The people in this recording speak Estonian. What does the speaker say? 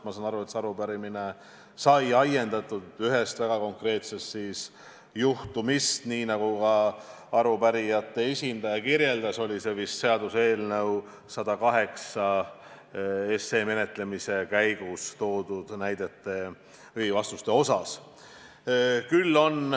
Ma saan aru, et arupärimine on ajendatud ühest väga konkreetsest juhtumist, nii nagu ka arupärijate esindaja selgitas – tegu oli vist seaduseelnõu 108 menetlemise käigus toodud näidetega või vastustega.